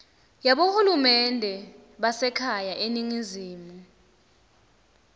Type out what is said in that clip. yabohulumende basekhaya eningizimu